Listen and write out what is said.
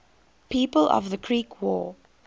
people of the creek war